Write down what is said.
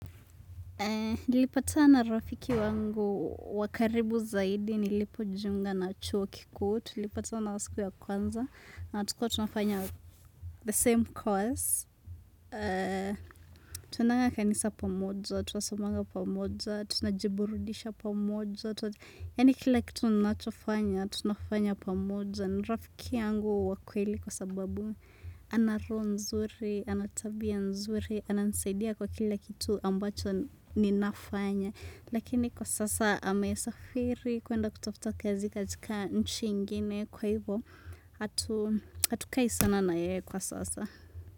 Nilipatana rafiki wangu wa karibu zaidi nilipojiunga na chuo kikuu. Tulipatana siku ya kwanza na tukua tunafanya the same course tunaenda kanisa pamoja, tunasomanga pamoja, tunajiburudisha pamoja yaani kila kitu ninachofanya tunafanya pamoja. Ni rafiki yangu wa kweli kwa sababu ana roho nzuri, ana tabia nzuri ananisaidia kwa kila kitu ambacho ninafanya lakini kwa sasa amesafiri kuenda kutafuta kazi katika nchi ingine kwa hivyo hatukai sana na yeye kwa sasa.